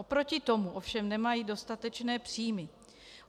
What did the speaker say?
Oproti tomu ovšem nemají dostatečné příjmy.